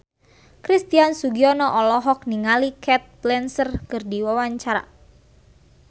Christian Sugiono olohok ningali Cate Blanchett keur diwawancara